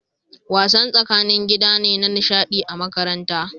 Wasan tsakanin gida ne na nishaɗi a makaranta